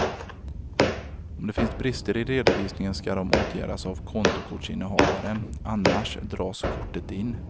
Om det finns brister i redovisningen ska de åtgärdas av kontokortsinnehavaren, annars dras kortet in.